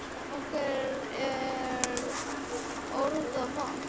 Okkur er orða vant.